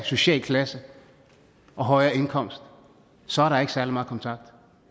social klasse og højere indkomst så er der ikke særlig meget kontakt